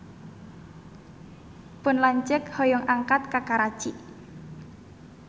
Pun lanceuk hoyong angkat ka Karachi